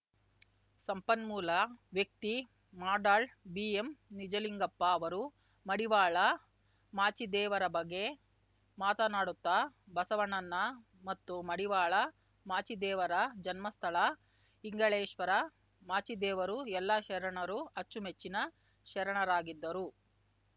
ಸಂಪನ್ಮೂಲ ವ್ಯಕ್ತಿ ಮಾಡಾಳ್‌ ಬಿಎಂ ನಿಜಲಿಂಗಪ್ಪ ಅವರು ಮಡಿವಾಳ ಮಾಚೀದೇವರ ಬಗ್ಗೆ ಮಾತನಾಡುತ್ತ ಬಸವಣ್ಣನ ಮತ್ತು ಮಡಿವಾಳ ಮಾಚೀದೇವರ ಜನ್ಮಸ್ಥಳ ಇಂಗಳೇಶ್ವರ ಮಾಚೀದೇವರು ಎಲ್ಲ ಶರಣರು ಅಚ್ಚುಮೆಚ್ಚಿನ ಶರಣರಾಗಿದ್ದರು